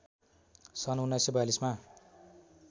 सन् १९४२मा